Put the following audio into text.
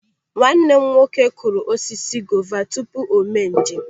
Nwanne m nwoke kụrụ osisi gova tupu o mee njem.